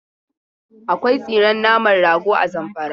Akwai tsiren naman rago a Zamfara.